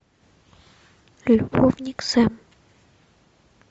любовник сэм